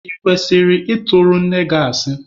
Ị kwesịrị ị tụrụ nne gị asị?